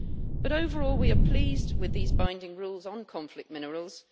But overall, we are pleased with these binding rules on conflict minerals.